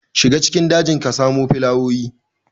Shiga cikin dajin ka samo filawoyi.